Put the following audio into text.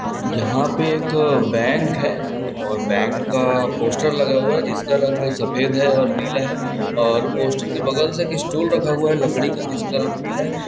--जहां पे एक बैंक हैं और बैंक का पोस्टर लगा हुआ है जिसका रंग सफेद है और नीला है और पोस्टर के बगल से एक स्टूल रखा हुआ है लकड़ी का जिसका रंग पीला है।